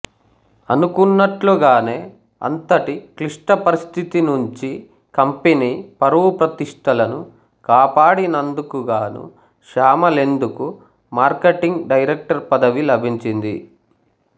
అనుకున్నట్లుగానే అంతటి క్లిష్ట పరిస్థితి నుంచి కంపెనీ పరువు ప్రతిష్ఠలను కాపాడినందుకుగాను శ్యామలేందుకు మార్కెటింగ్ డైరెక్టర్ పదవి లభించింది